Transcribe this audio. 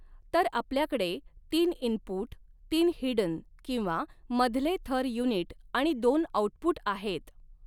तर आपल्याकडे तीन इनपुट तीन हिडन किंवा मधले थर युनिट आणि दोन आउटपुट आहेत.